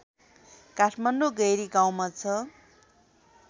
काठमाडौँ गैरीगाउँमा छ